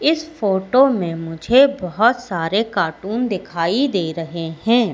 इस फोटो में मुझे बहोत सारे कार्टून दिखाई दे रहे हैं।